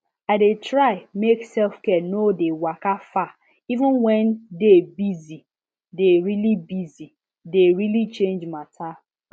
i dey try make selfcare no dey waka far even when day busye dey really busye dey really change matter